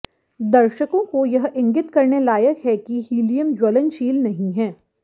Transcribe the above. दर्शकों को यह इंगित करने लायक है कि हीलियम ज्वलनशील नहीं है